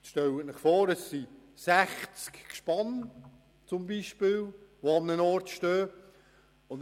Stellen Sie sich beispielsweise vor, an einem Ort stehen 60 Gespanne.